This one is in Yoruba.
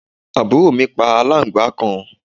àbúrò mi pa aláǹgbàá kan